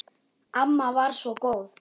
Amma var svo góð.